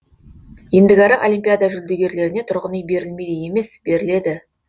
ендігәрі олимпиада жүлдегерлеріне тұрғын үй берілмейді емес беріледі